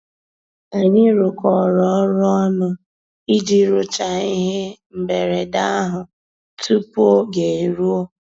Ànyị́ rụ́kọ̀rọ́ ọ́rụ́ ọnụ́ ìjì rụ́cháá íhé mbérèdé àhụ́ túpú ògé èrúó.